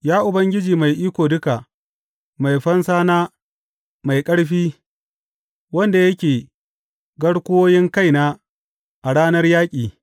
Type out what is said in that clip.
Ya Ubangiji Mai Iko Duka, mai fansana mai ƙarfi, wanda yake garkuwoyin kaina a ranar yaƙi.